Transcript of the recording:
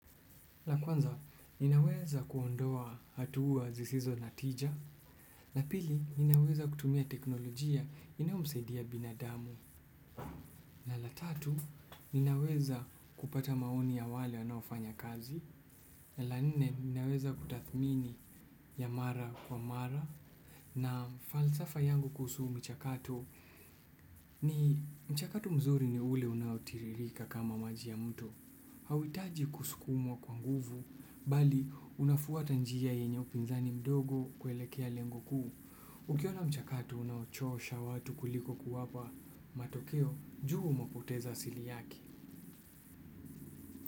La kwanza, ninaweza kuondoa hatua zisizo na tija. La pili, ninaweza kutumia teknolojia inayo msaidia binadamu. Na la tatu, ninaweza kupata maoni ya wale wanaofanya kazi. Na la nne, ninaweza kutathmini ya mara kwa mara. Na falsafa yangu kuhusu michakato, ni mchakato mzuri ni ule unao tiririka kama maji ya mto. Hauhitaji kusukumwa kwa nguvu, bali unafwata njia yenye upinzani mdogo kuelekea lengo kuu. Ukiona mchakato unaochosha watu kuliko kuwapa, matokeo jua umepoteza asili yake.